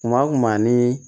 Kuma o kuma ani